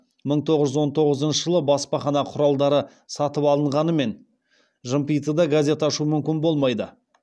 мың тоғыз жүз он тоғызыншы жылы баспахана құралдары сатып алынғанымен жымпитыда газет ашу мүмкін болмайды